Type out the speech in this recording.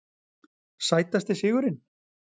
Sætasti sigurinn?